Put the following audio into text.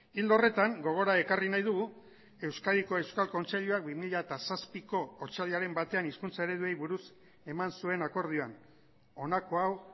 ildo horretan gogora ekarri nahi dugu euskadiko euskal kontseiluak bi mila zazpiko otsailaren batean hizkuntza ereduei buruz eman zuen akordioan honako hau